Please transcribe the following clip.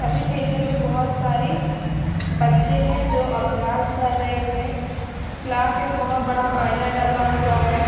सभी मेजों में बहोत सारी बच्चे है जो अभ्यास कर रहे हैं क्लास में बहोत बड़ा आईना लगा हुआ है।